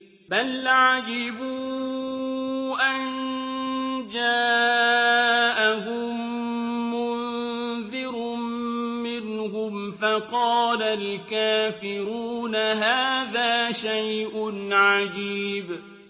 بَلْ عَجِبُوا أَن جَاءَهُم مُّنذِرٌ مِّنْهُمْ فَقَالَ الْكَافِرُونَ هَٰذَا شَيْءٌ عَجِيبٌ